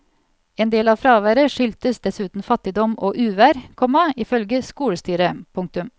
En del av fraværet skyldtes dessuten fattigdom og uvær, komma ifølge skolestyret. punktum